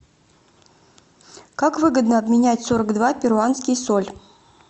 как выгодно обменять сорок два перуанский соль